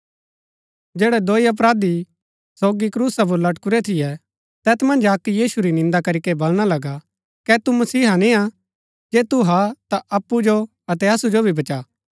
जैड़ै दुई अपराधी सोगी क्रूसा पुर लटकऊरै थियै तैत मन्ज अक्क यीशु री निन्दा करीके बलणा लगा कै तू मसीहा निंआ जे तू हा ता अप्पु जो अतै असु जो भी बचा